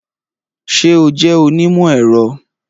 Ṣé o jẹ́ onímọ̀-ẹ̀rọ?